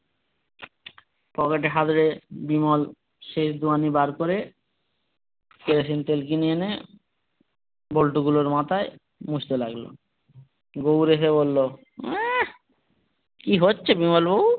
পকেটে হাতড়ে বিমল সেই দুয়ানি বার করে কেরোসিন তেল কিনে এনে বল্টু গুলোর মাথায় মুছতে লাগলো গুবর এসে বললো আঃ কি হচ্ছে বিমল বাবু।